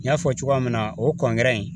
N y'a fɔ cogoya min na o in